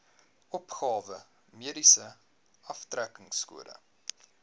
opgawe mediese aftrekkingskode